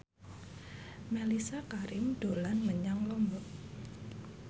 Mellisa Karim dolan menyang Lombok